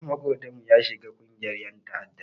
Ɗan maƙotanmu ya shiga ƙungiyar ƴan ta'adda.